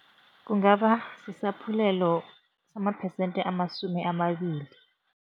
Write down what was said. Kungaba isaphulelo samaphesente amasumi amabili.